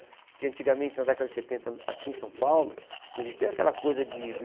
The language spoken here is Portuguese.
Porque antigamente, na década de setenta, aqui em São Paulo, não existia aquela coisa de do